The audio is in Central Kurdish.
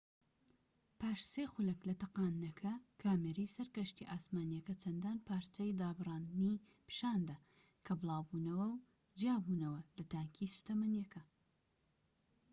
پاش ٣ خولەك لە تەقاندنەکە، کامێرەی سەر کەشتیە ئاسمانیەکە چەندان پارچەی دابڕاندنی پیشاندا کە بڵاوبووبونەوە و جیابووبونەوە لە تانکی سوتەمەنیەکە